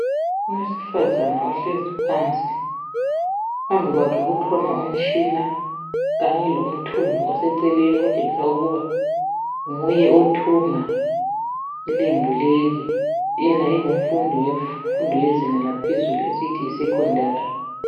Owesifazana ohlezi phansi phambi kwakhe kukhona umtshina kanye lomthungo oseceleni okutshengisa ukuba nguye othunga ilembu leli yena engumfundi wemfundo wezinga lelaphezulu esiyithi yi sekhondari